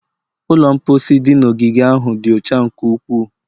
Ụlọ mposi dị n'ogige ahụ dị ọcha nke ukwuu.